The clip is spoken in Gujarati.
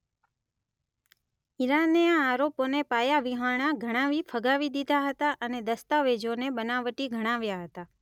ઇરાને આ આરોપોને પાયાવિહોણા ગણાવી ફગાવી દીધા હતા અને દસ્તાવેજોને બનાવટી ગણાવ્યાં હતાં.